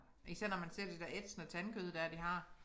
Især når man ser de der ætsende tandkød der de har